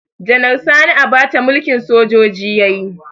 Janar Sani Abacha mulkin sojoji yayi